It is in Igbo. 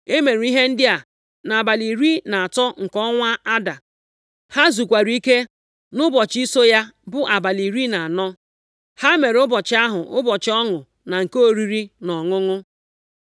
E mere ihe ndị a nʼabalị iri na atọ nke ọnwa Ada, + 9:17 Maọbụ, ọnwa iri na abụọ ha zukwara ike nʼụbọchị so ya bụ abalị iri na anọ. Ha mere ụbọchị ahụ, ụbọchị ọṅụ na nke oriri na ọṅụṅụ.